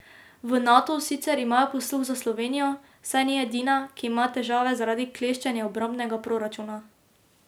V Natu sicer imajo posluh za Slovenijo, saj ni edina, ki ima težave zaradi kleščenja obrambnega proračuna.